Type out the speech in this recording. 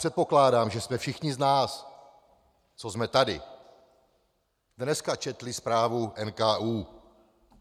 Předpokládám, že jsme všichni z nás, co jsme tady, dneska četli zprávu NKÚ.